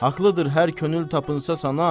Haqlıdır hər könül tapınsa sana.